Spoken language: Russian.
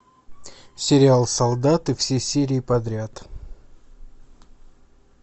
сериал солдаты все серии подряд